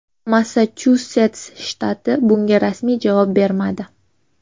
Massachusets shtati bunga rasmiy javob bermadi.